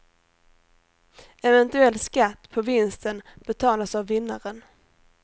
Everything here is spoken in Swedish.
Eventuell skatt på vinsten betalas av vinnaren.